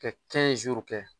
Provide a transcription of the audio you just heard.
Kɛ kɛ.